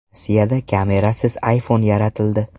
Rossiyada kamerasiz iPhone yaratildi.